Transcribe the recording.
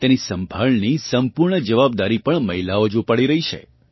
તેની સંભાળની સંપૂર્ણ જવાબદારી પણ મહિલાઓ જ ઊપાડી રહી છે